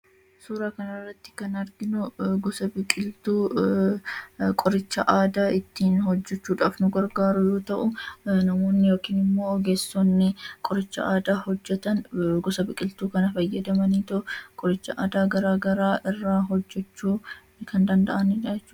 Suuraa kanarratti kan arginu qoricha aadaa ittiin hojjachuudhaaf nu gargaaru yoo ta'u namoonni yookiin ogeessoonni qoricha aadaa hojjatan gosa biqiltuu kana fayyadamanii qoricha aadaa garaagaraa kan fayyadamanidha.